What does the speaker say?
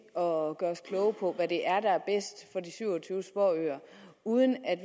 og gøre os kloge på hvad det er der er bedst for de syv og tyve småøer uden at